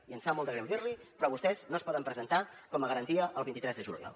i em sap molt de greu dir l’hi però vostès no es poden presentar com a garantia el vint tres de juliol